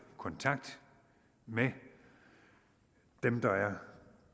kontakt med dem der er